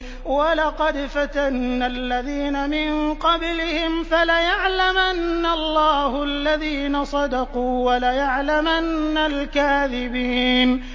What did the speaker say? وَلَقَدْ فَتَنَّا الَّذِينَ مِن قَبْلِهِمْ ۖ فَلَيَعْلَمَنَّ اللَّهُ الَّذِينَ صَدَقُوا وَلَيَعْلَمَنَّ الْكَاذِبِينَ